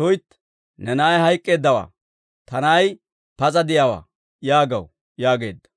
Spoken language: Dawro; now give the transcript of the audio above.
‹tuytti! Ne na'ay hayk'k'eeddawaa; ta na'ay pas'a de'iyaawaa› yaagaw» yaageedda.